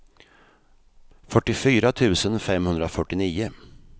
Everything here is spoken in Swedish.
fyrtiofyra tusen femhundrafyrtionio